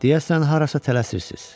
Deyəsən harasa tələsirsiz.